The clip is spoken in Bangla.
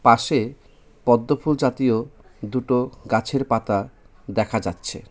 পাশে পদ্মফুল জাতীয় দুটো গাছের পাতা দেখা যাচ্ছে.